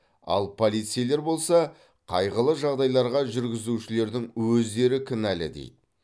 ал полицейлер болса қайғылы жағдайларға жүргізушілердің өздері кінәлі дейді